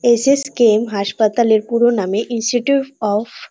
SSKM. হাসপাতাল এর পুরো নামে ইনস্টিটিউট অফ --